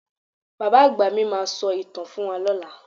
Bàbá àgbà mi máa sọ ìtàn fún wa lọ́la.